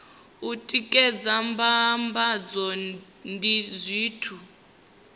u tikedza mbambadzo ndi zwithu